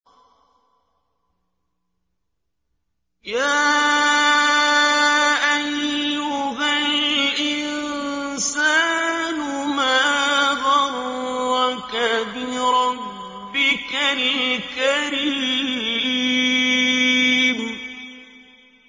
يَا أَيُّهَا الْإِنسَانُ مَا غَرَّكَ بِرَبِّكَ الْكَرِيمِ